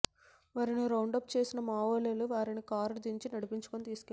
వారిని రౌండప్ చేసిన మావోలు వారిని కారు దించి నడిపించుకుని తీసుకెళ్లారు